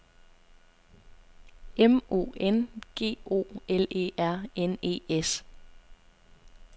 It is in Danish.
M O N G O L E R N E S